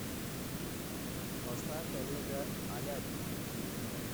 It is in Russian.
поставь олега алябина